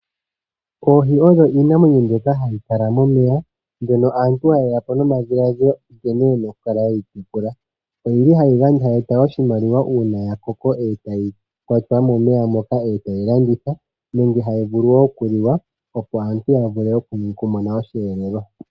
Oohi odho iinamwenyo mbyoka hayi kala momeya. Mbyono aantu haya eta po omadhiladhilo nkene ye na okutekula. Ohadhi gandja oshimaliwa uuna dha koko etadhi kwatwa mo momeya nokulandithwa, osho wo okugandja osheelelwa kaanegumbo.